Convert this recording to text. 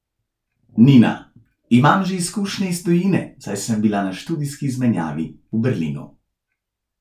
Nina: 'Imam že izkušnje iz tujine, saj sem bila na študijski izmenjavi v Berlinu.